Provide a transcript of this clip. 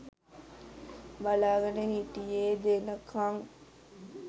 බලාගෙන හිටියේ දෙනකම්